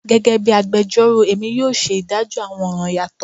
Gẹgẹbi agbẹjọro Emi yoo ṣe idajọ awọn ọran yatọ